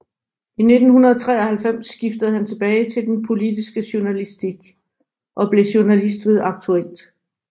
I 1993 skiftede han tilbage til den politiske journalistik og blev journalist ved Aktuelt